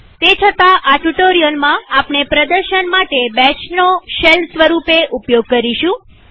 તે છતાંઆ ટ્યુ્ટોરીઅલમાં આપણે પ્રદર્શન માટે બેશનો શેલ સ્વરૂપે ઉપયોગ કરીશું